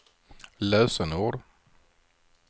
lösenord